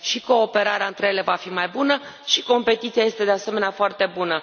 Și cooperarea între ele va fi mai bună, și competiția este, de asemenea, foarte bună.